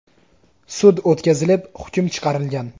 Sud o‘tkazilib, hukm chiqarilgan.